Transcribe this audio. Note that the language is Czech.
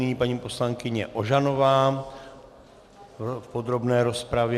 Nyní paní poslankyně Ožanová v podrobné rozpravě.